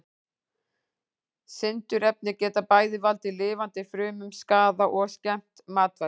Sindurefni geta bæði valdið lifandi frumum skaða og skemmt matvæli.